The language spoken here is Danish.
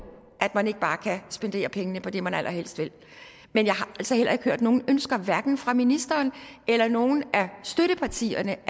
at man ikke bare kan spendere pengene på det man allerhelst vil men jeg har altså heller ikke hørt nogen ønsker hverken fra ministeren eller nogen af støttepartierne